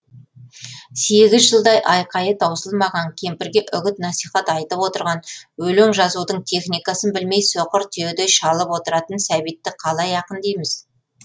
сегіз жылдай айқайы таусылмаған кемпірге үгіт насихат айтып отырған өлең жазудың техникасын білмей соқыр түйедей шалып отыратын сәбитті қалай ақын дейміз